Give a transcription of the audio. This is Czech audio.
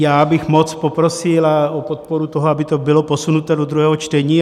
Já bych moc poprosil o podporu toho, aby to bylo posunuto do druhého čtení.